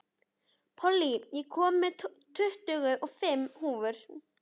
Pollý, ég kom með tuttugu og fimm húfur!